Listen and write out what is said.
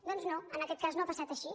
doncs no en aquest cas no ha passat així